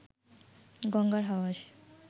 গঙ্গার হাওয়া এসে